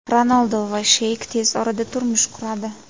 Ronaldu va Sheyk tez orada turmush quradi.